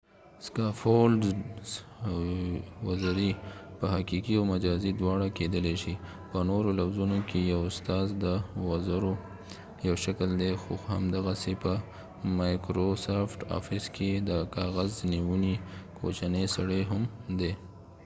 سکافولډز وزري په حقیقي او مجازي دواړه کیدلې شي، په نورو لفظونو کې، یو استاذ د وزرو یو شکل دی خو همدغسې په مایکروسافټ آفیس کې د کاغذ نیونې کوچنی سړی هم دی